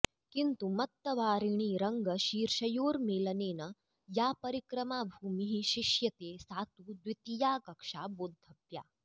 किन्तु मत्तवारिणीरङ्गशीर्षयोर्मेलनेन या परिक्रमाभूमिः शिष्यते सा तु द्वितीया कक्षा बोद्धव्या